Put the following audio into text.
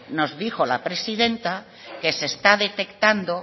nos dijo la presidenta que se está detectando